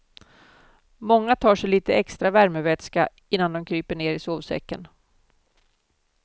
Många tar sig lite extra värmevätska innan de kryper ner i sovsäcken.